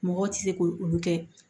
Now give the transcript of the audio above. Mɔgɔw tɛ se ko olu kɛ